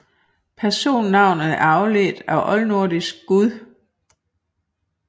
Personnavnet er afledt af oldnordisk guð